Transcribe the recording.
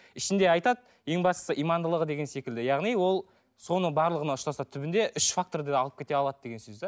ішінде айтады ең бастысы имандылығы деген секілді яғни ол соның барлығына ұштасады түбінде үш факторды да алып кете алады деген сөз де